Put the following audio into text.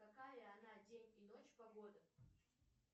какая она день и ночь погода